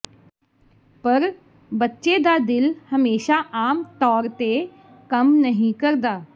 ਪਰ ਬੱਚੇ ਦਾ ਦਿਲ ਹਮੇਸ਼ਾ ਆਮ ਤੌਰ ਤੇ ਕੰਮ ਨਹੀਂ ਕਰਦਾ